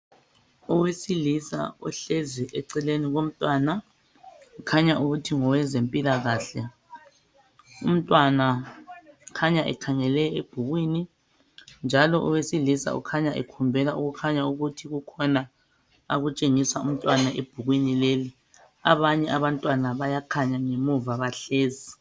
Owesilisa ohlezi eceleni komntwana okukhanya ukuthi ngokwezempikahle umntwana ukhanya ekhangele ebhukwini njalo owesilisa ukhanya ekhombela okutshengisa ukuthi kukhona akutshengisa umntwana ebhukwini lelo abanye abantwana bayakhanya ngemuva bahlezi